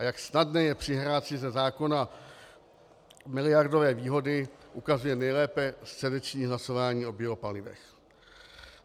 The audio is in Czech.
A jak snadné je přihrát si ze zákona miliardové výhody, ukazuje nejlépe středeční hlasování o biopalivech.